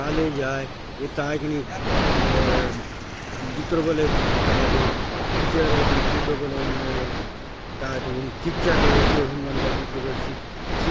ये कॉलेज आय ये काय आय की नहीं अ जितरो बले कायतो टीचर आय की नई जितरो बले हुन कायतो शिक्षा देयसे हुन मन जितरो बले शि --